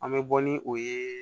An bɛ bɔ ni o ye